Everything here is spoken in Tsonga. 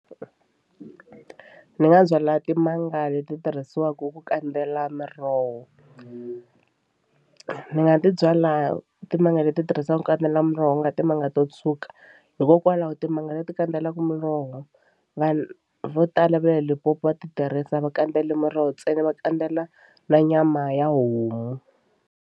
Ni nga byala timanga leti tirhisiwaka ku kandzela miroho ni nga ti byala timanga leti tirhisaka ku kandzela muroho ku nga timanga nga to tshuka hikokwalaho timanga leti kandzelaka muroho vanhu vo tala va le Limpopo va ti tirhisa a va kandzeli muroho ntsena va kandzela na nyama ya homu.